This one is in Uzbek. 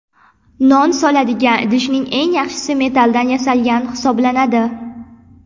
Non soladigan idishning eng yaxshisi metalldan yasalgani hisoblanadi.